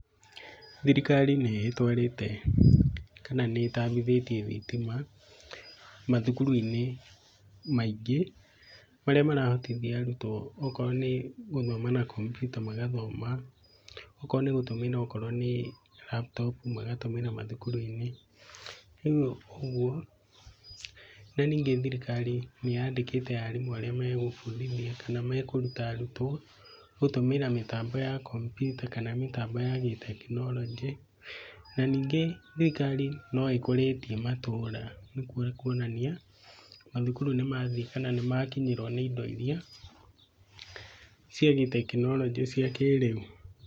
Thĩrĩkarĩ nĩ ĩtwarĩte kana nĩĩtambĩthetĩe thĩtĩma, mathũkũrũ-ĩnĩ maĩngĩ marĩa marahotĩthĩa arũtwo. Okorwo nĩ gũthoma na kambyuta mangathoma, ũkorwo nĩ laptop magatũmĩra mathũkũrũ-ĩnĩ. Na nĩĩngĩ thĩrĩkarĩ nĩyandĩkĩte arĩmũ arĩa mengũfũndĩthĩa, kana mekũrũta arũtwo gũtũmĩra mĩtambo ya kambyuta kana mĩtambo ya gĩtekĩnorojĩ. Na nĩĩngĩe thĩrĩkarĩ nũĩkũretĩe matũra. Gũkũo nĩkũonanĩa mathũkũrũ nĩmathĩe kana nĩmakĩnyerwo nĩ ĩndo ĩrĩa, cĩa gĩtekĩnorojĩ cĩa kĩreũ